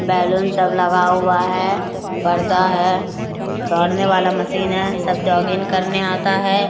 balloon सब लगा हुआ है पर्दा है दौड़ने वाला मशीन है | सब जॉगिंग करने आता है |